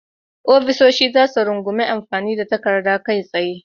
Ofisoshin za su rungumi amfani da takaddun kai tsaye.